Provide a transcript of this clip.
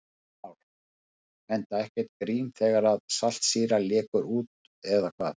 Heimir Már: Enda ekkert grín þegar saltsýra lekur út eða hvað?